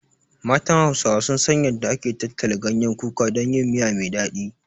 Matan Hausawa sun san yanda ake tattala ganyen kuka don yin miya me daɗi.